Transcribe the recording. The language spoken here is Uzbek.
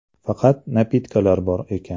Faqat ‘napitka’lar bor ekan.